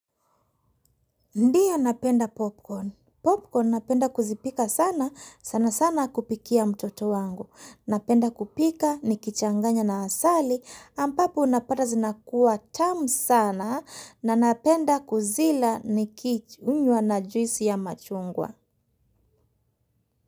Ndiyo napenda popcorn. Popcorn napenda kuzipika sana sana sana kupikia mtoto wangu. Napenda kupika nikichanganya na asali ampapo unapata zinakuwa tamu sana na napenda kuzila nikichunywa na juisi ya machungwa.